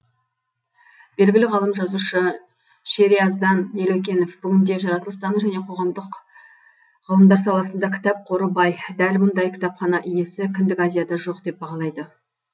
белгілі ғалым жазушы шериаздан елеукенов бүгінде жаратылыстану және қоғамдық ғылымдар саласында кітап қоры бай дәл мұндай кітапхана иесі кіндік азияда жоқ деп бағалайды